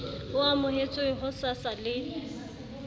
e amohetswe ho sasa le